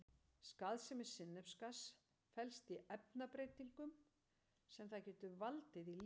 Skaðsemi sinnepsgass felst í efnabreytingum sem það getur valdið í lífverum.